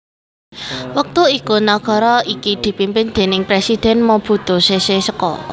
Wektu iku nagara iki dipimpin déning Presidhèn Mobutu Sese Seko